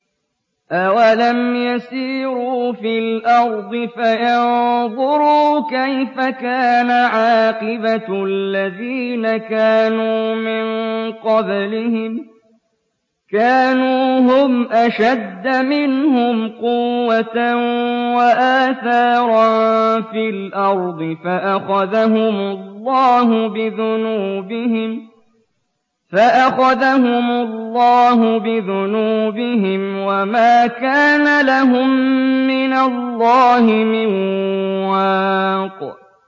۞ أَوَلَمْ يَسِيرُوا فِي الْأَرْضِ فَيَنظُرُوا كَيْفَ كَانَ عَاقِبَةُ الَّذِينَ كَانُوا مِن قَبْلِهِمْ ۚ كَانُوا هُمْ أَشَدَّ مِنْهُمْ قُوَّةً وَآثَارًا فِي الْأَرْضِ فَأَخَذَهُمُ اللَّهُ بِذُنُوبِهِمْ وَمَا كَانَ لَهُم مِّنَ اللَّهِ مِن وَاقٍ